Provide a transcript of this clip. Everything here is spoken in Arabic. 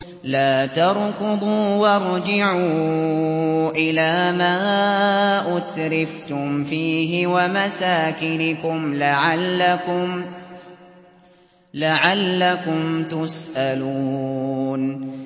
لَا تَرْكُضُوا وَارْجِعُوا إِلَىٰ مَا أُتْرِفْتُمْ فِيهِ وَمَسَاكِنِكُمْ لَعَلَّكُمْ تُسْأَلُونَ